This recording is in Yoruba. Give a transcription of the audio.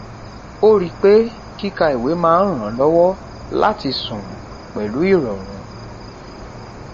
ó rí pé kí ka ìwé máa n ràn lówó láti sùn pẹlu ìròrùn